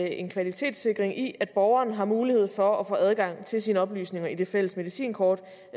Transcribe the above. en kvalitetssikring i at borgeren har mulighed for at få adgang til sine oplysninger i det fælles medicinkort